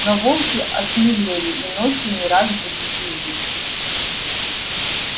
но волки осмелели и ночью не раз будили их